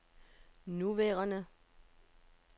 nuværende